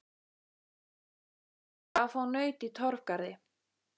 Það gekk greiðlega að fá naut í Torfgarði.